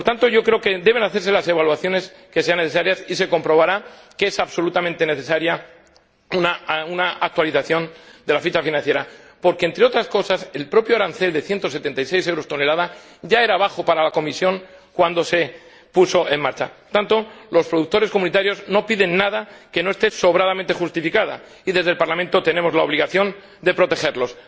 Por tanto, yo creo que deben hacerse las evaluaciones que sean necesarias y se comprobará que es absolutamente necesaria una actualización de la ficha financiera, porque, entre otras cosas, el propio arancel de 176 euros por tonelada ya era bajo para la Comisión cuando se puso en marcha. Por tanto, los productores comunitarios no piden nada que no esté sobradamente justificado, y desde el Parlamento tenemos la obligación de protegerlos